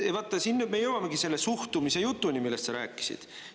Siin me jõuamegi selle suhtumise jutuni, millest sa rääkisid.